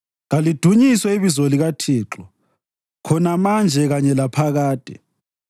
Kalidunyiswe ibizo likaThixo, khona manje kanye laphakade.